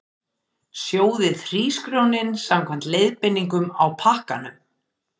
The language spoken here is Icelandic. Sjóðið hrísgrjónin samkvæmt leiðbeiningum á pakkanum.